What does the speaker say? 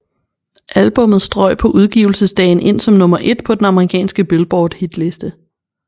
Albummet strøg på udgivelsesdagen ind som nummer et på den amerikanske Billboard hitliste